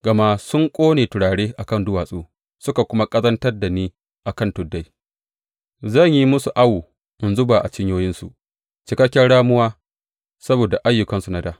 Gama sun ƙone turare a kan duwatsu suka kuma ƙazantar da ni a kan tuddai, zan yi musu awo in zuba a cinyoyinsu cikakken ramuwa saboda ayyukansu na dā.